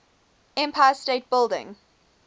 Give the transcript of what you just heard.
empire state building